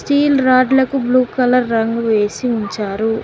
Steel రాడ్లకు blue colour రంగు వేసి ఉంచారు.